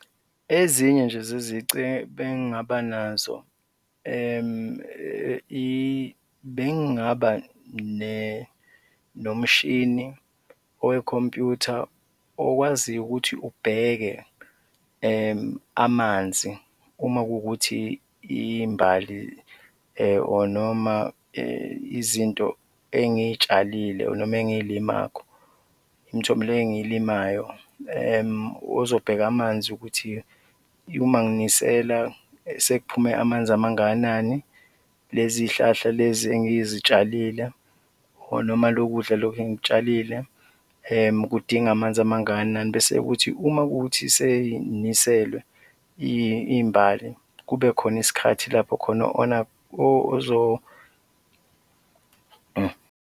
Ezinye nje zezici ebengingaba nazo, bengingaba nomshini oyikhompyutha okwaziyo ukuthi ubheke amanzi, uma kuwukuthi iy'mbali or noma izinto engiy'tshalile or noma engiy'limakho, imithomelo engiy'limayo, uzobheka amanzi ukuthi uma nginisela sekuphume amanzi amangakanani, lezi zihlahla lezi engizitshalile or noma lokudla loku engikutshalile kudinga amanzi amangakanani bese kuthi uma kuwukuthi sey'niselwe iy'mbali, kube khona isikhathi lapho khona .